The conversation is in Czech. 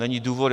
Není důvod.